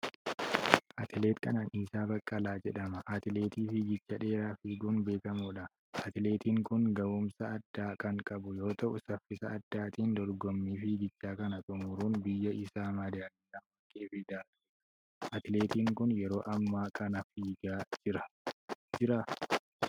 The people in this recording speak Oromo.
Atileet Qananiisaa Baqqalaa jedhama. Atileetii fiigicha dheeraa fiiguun beekamuudha. Atileetiin kun gahuumsa addaa kan qabu yoo ta'u saffisa addaatin dorgommii fiigachaa kana xumuruun biyya isaa medaaliyaa warqee fidaa tureera. Atileetiin kun yeroo ammaa kana fiiigaa jiraa?